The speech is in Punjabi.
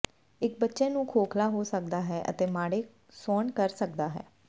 ਇਕ ਬੱਚੇ ਨੂੰ ਖੋਖਲਾ ਹੋ ਸਕਦਾ ਹੈ ਅਤੇ ਮਾੜੇ ਸੌਣ ਕਰ ਸਕਦਾ ਹੈ